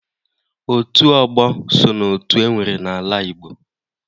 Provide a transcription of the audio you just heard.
Otu ọgbọ so n'otu enwere n' ala Igbo